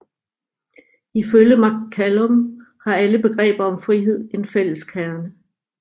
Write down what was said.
Ifølge McCallum har alle begreber om frihed en fælles kerne